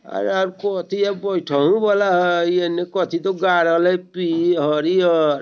अरे यार कोथि हय बैठे वला हय इ एने कथि तो गाड़ल हय पि हरियर --